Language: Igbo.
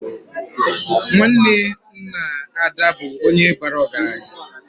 Nwanne nna Ada bụ nwoke bara ọgaranya